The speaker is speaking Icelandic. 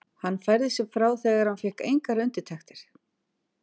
Hann færði sig frá þegar hann fékk engar undirtektir.